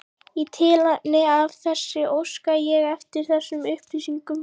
Í tilefni af þessu óska ég eftir þessum upplýsingum